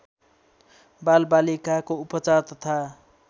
बालबालिकाको उपचार तथा